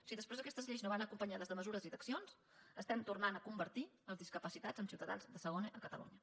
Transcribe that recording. si després aquestes lleis no van acompanyades de mesures d’accions estem tornant a convertir els discapacitats en ciutadans de segona a catalunya